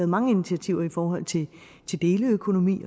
mange initiativer i forhold til til deleøkonomi